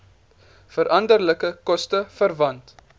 veranderlike koste verwant